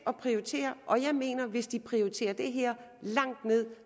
at prioritere og jeg mener at hvis de prioriterer det her langt ned